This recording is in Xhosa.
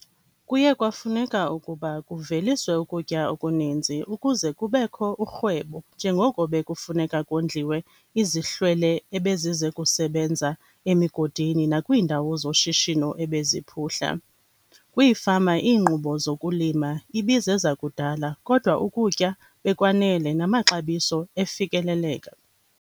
Kuye kwafuneka ukuba kuveliswe ukutya okuninzi ukuze kubekho urhwebo njengoko bekufuneka kondliwe izihlwele ebezize kusebenza emigodini nakwiindawo zoshishino ebeziphuhla. Kwiifama, iinkqubo zokulima ibizezakudala kodwa ukutya bekwanele namaxabiso efikeleleka.